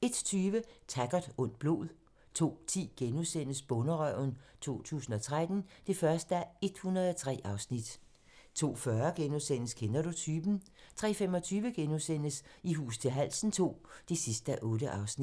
01:20: Taggart: Ondt blod 02:10: Bonderøven 2013 (1:103)* 02:40: Kender du typen? * 03:25: I hus til halsen II (8:8)*